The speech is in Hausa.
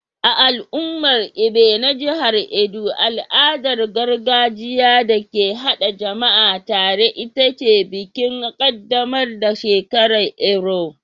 A al'ummar Ibie na jihar Edo al'adar gargajiya da ke haɗa jama'a tare ita ce bikin ƙaddamar da shekaru Erua.